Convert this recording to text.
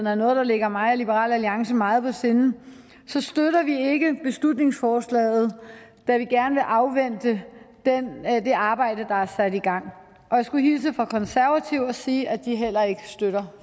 er noget der ligger mig og liberal alliance meget på sinde så støtter vi ikke beslutningsforslaget da vi gerne vil afvente det arbejde der er sat i gang jeg skulle hilse fra de konservative og sige at de heller ikke støtter